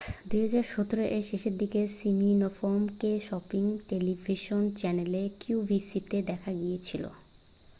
2017 এর শেষের দিকে সিমিনফ-কে শপিং টেলিভিশন চ্যানেল qvc-তে দেখা গিয়েছিল।